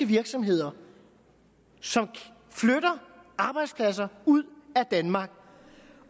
virksomheder som flytter arbejdspladser ud af danmark